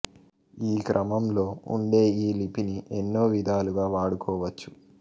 ఈ క్రమంలో ఉండే ఈ లిపిని ఎన్నో విదాలుగా వాడుకోవచ్చు